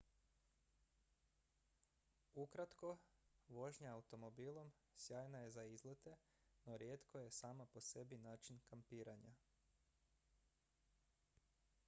"ukratko vožnja automobilom sjajna je za izlete no rijetko je sama po sebi način "kampiranja"".